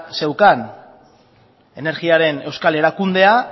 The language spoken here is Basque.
zeukan energiaren euskal erakundea